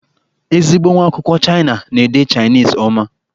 Ezigbo nwa akwụkwọ Chịana na-ede Chainisi ọma.